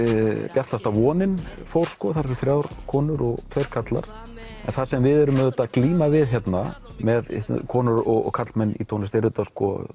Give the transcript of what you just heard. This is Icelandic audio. bjartasta vonin fór þar eru þrjár konur og tveir karlar en það sem við erum auðvitað að glíma við hérna með konur og karlmenn í tónlist er auðvitað